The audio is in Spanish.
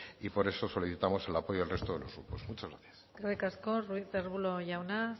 y por eso solicitamos el apoyo al resto de los grupos muchas gracias eskerrik asko ruiz de arbulo jauna